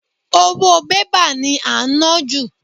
Owó bébà ni à ń ná jù